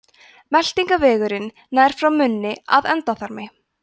meltingarvegurinn nær frá munni að endaþarmi